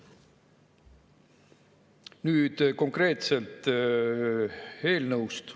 Nüüd konkreetselt eelnõust.